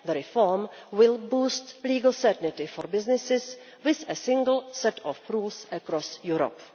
The reform will boost legal certainty for businesses with a single set of rules across Europe.